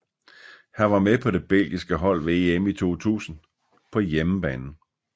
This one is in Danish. Han var med på det belgiske hold ved EM i 2000 på hjemmebane